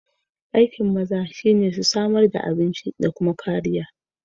Aikiin maza shi ne su samar da abinci da kuma kariya